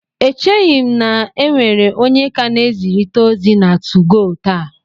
Echeghị m na e nwere onye ka na-ezirịta ozi na 2go taa